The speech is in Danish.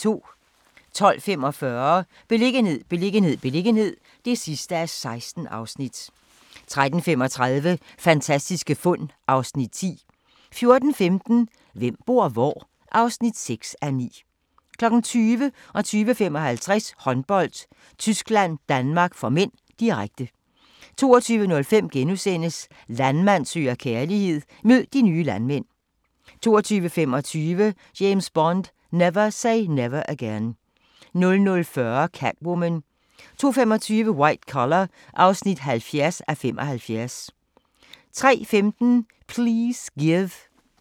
12:45: Beliggenhed, beliggenhed, beliggenhed (16:16) 13:35: Fantastiske fund (Afs. 10) 14:15: Hvem bor hvor? (6:9) 20:00: Håndbold: Tyskland-Danmark (m), direkte 20:55: Håndbold: Tyskland-Danmark (m), direkte 22:05: Landmand søger kærlighed – mød de nye landmænd * 22:25: James Bond: Never Say Never Again 00:40: Catwoman 02:25: White Collar (70:75) 03:15: Please Give